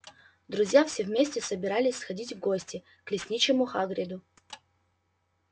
друзья все вместе собирались сходить в гости к лесничему хагриду